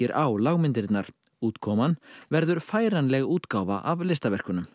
á lágmyndirnar útkoman verður færanleg útgáfa af listaverkunum